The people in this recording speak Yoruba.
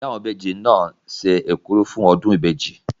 Ìyá àwọn ìbejì náà se ekuru fún ọdún ìbejì.